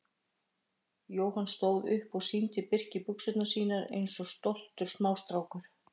Jóhann stóð upp og sýndi Birki buxurnar sínar eins og stoltur smástrákur.